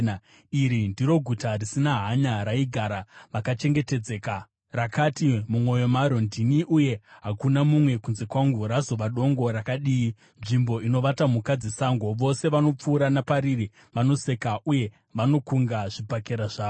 Iri ndiro guta risina hanya raigara vakachengetedzeka. Rakati mumwoyo maro, “Ndini, uye hakuna mumwe kunze kwangu.” Razova dongo rakadii, nzvimbo inovata mhuka dzesango! Vose vanopfuura napariri vanoseka Uye vanokunga zvibhakera zvavo.